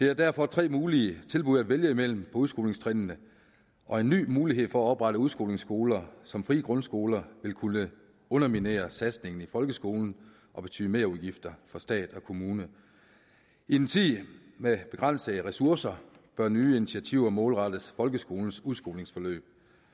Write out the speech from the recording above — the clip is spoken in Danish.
er derfor tre mulige tilbud at vælge mellem udskolingstrinnene og en ny mulighed for at oprette udskolingsskoler som frie grundskoler vil kunne underminere satsningen i folkeskolen og betyde merudgifter for stat og kommune i en tid med begrænsede ressourcer bør nye initiativer målrettes folkeskolens udskolingsforløb